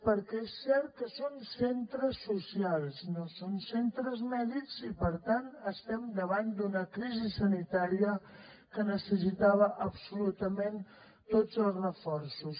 perquè és cert que són centres socials no són centres mèdics i per tant estem davant d’una crisi sanitària que necessitava absolutament tots els reforços